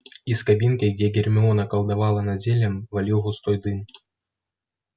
из кабинки где гермиона колдовала над зельем валил густой дым